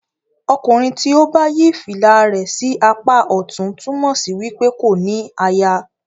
ọkùnrin tí o bá yí fìlà rẹ sí apa ọtún túmọ sí wípé kò ní àyà.